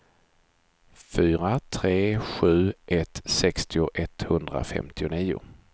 fyra tre sju ett sextio etthundrafemtionio